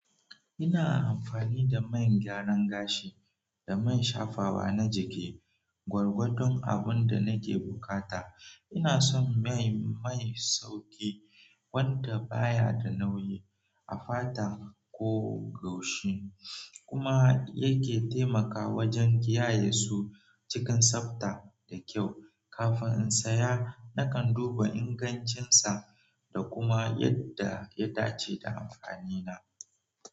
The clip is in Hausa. Ina amfani da man gyaran gashi da man shafawa na jiki, gwargwadon abun da nake bukata. Ina son mai sauƙi wanda baya da nauyi, a fata ko goshi kuma yake taimaka wajen kiyaye su cikin tsabta da kyau. Kafin in saya, nakan duba ingancinsa da kuma yadda ya dace da amfanina.